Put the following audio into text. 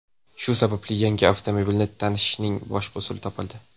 Shu sababli yangi avtomobilni tashishning boshqa usuli topildi.